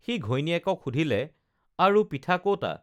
সি ঘৈণীয়েকক সুধিলে আৰু পিঠা ক'তা